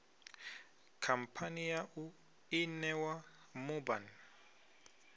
khamphani yau i ṋewa mubhann